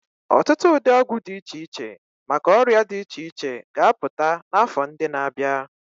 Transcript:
Ọtụtụ ụdị ọgwụ dị iche iche maka ọrịa dị iche iche ga-apụta n'afọ ndị na-abịa.